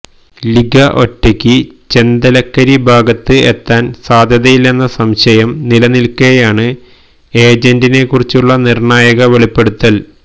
Liga ഒറ്റയ്ക്ക് ചെന്തലക്കരി ഭാഗത്ത് എത്താന് സാധ്യതയില്ലെന്ന സംശയം നിലനില്ക്കെയാണ് ഏജന്റിനെ കുറിച്ചുള്ള നിര്ണായക വെളിപ്പെടുത്തല്